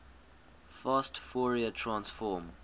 fast fourier transform